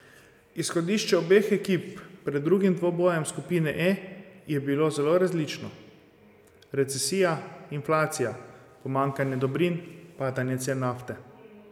Izhodišče obeh ekip pred drugim dvobojem skupine E je bilo zelo različno.